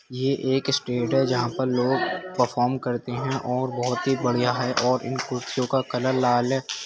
ये एक स्टेज पर लोग परफॉर्म करते है और बहोत ही बढ़िया है और इन कुर्सियों का कलर लाल है।